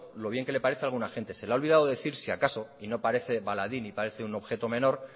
lo bien que le parece a alguna gente se le ha olvidado decir si acaso y no parece baladí ni parece un objeto menor